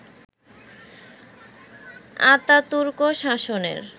Ataturk শাসনের